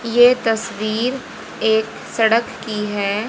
ये तस्वीर एक सड़क की है।